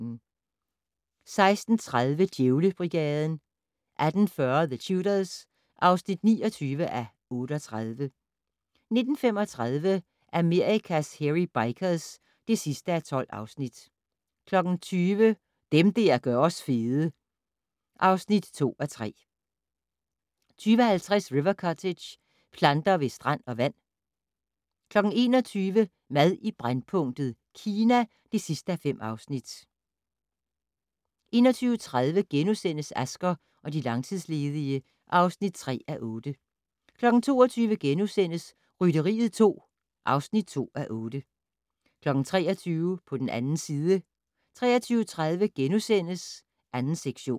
16:30: Djævlebrigaden 18:40: The Tudors (29:38) 19:35: Amerikas Hairy Bikers (12:12) 20:00: Dem der gør os fede (2:3) 20:50: River Cottage - planter ved strand og vand 21:00: Mad i brændpunktet: Kina (5:5) 21:30: Asger og de langtidsledige (3:8)* 22:00: Rytteriet 2 (2:8)* 23:00: På den 2. side 23:30: 2. sektion *